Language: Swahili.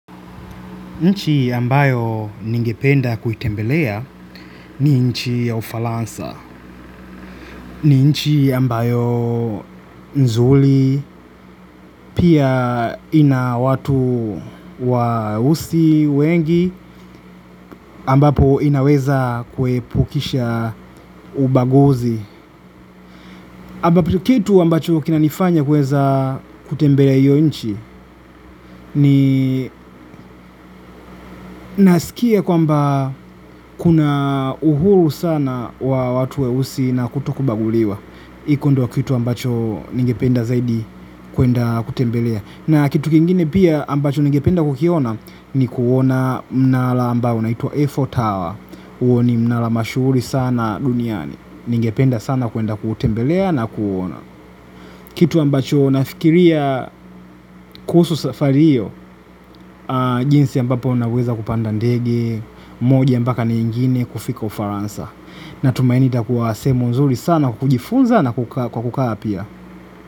Nchi ambayo ningependa kuitembelea ni nchi ya ufaransa, ni nchi ambayo nzuri, pia ina watu weusi wengi ambapo inaweza kuepukisha ubaguzi. Kitu ambacho kinanifanya kuweza kutembelea hio nchi ni nasikia kwamba kuna uhuru sana wa watu weusi na kutokubaguliwa. Iko ndio kitu ambacho ningependa zaidi kuenda kutembelea. Na kitu kingine pia ambacho ningependa kukiona ni kuona mnara ambao inaitwa eiffel Tower. Huo ni mnara mashuhuri sana duniani. Ningependa sana kuenda kutembelea na kuona. Kitu ambacho nafikiria kuhusu safari hiyo, jinsi ambapo naweza kupanda ndege, moja mpaka na ingine kufika ufaransa. Nina tumaini itakuwa sehemu nzuri sana kujifunza na kukaa apia.